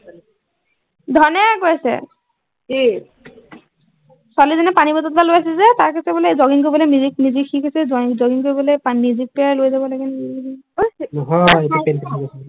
ধনে কৈছে কি ছোৱালী জনীয়ে পানী বটল এটা লৈ আছে যে তাই কৈছে যে jogging কৰিবলে music music সিকিছে join কৰিবলে music লৈ যাব